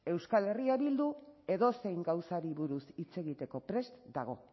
euskal herria bildu edozein gauzari buruz hitz egiteko prest dago